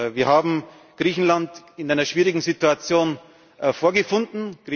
Wir haben Griechenland in einer schwierigen Situation vorgefunden.